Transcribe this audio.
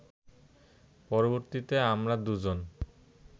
পরবর্তীতে আমরা দু’জন